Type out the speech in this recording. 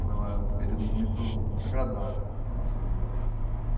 Foi uma eh um período muito muito agradável na nossa vida lá.